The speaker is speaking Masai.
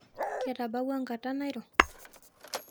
Ketabawua ngata nairo